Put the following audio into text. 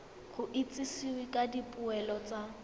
go itsisiwe ka dipoelo tsa